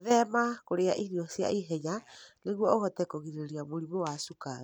Gwĩthema kũrĩa irio cia ihenya nĩguo ũhote kũgirĩrĩria mũrimũ wa cukari.